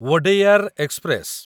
Wodeyar express